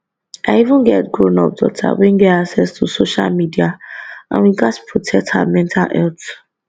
i even get grownup daughter wey get access to social media and we gatz protect her mental health